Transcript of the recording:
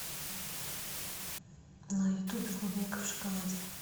на ютубе клубника в шоколаде